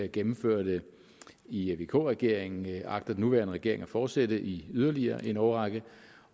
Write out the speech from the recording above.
gennemførte i vk regeringen agter den nuværende regering at fortsætte i yderligere en årrække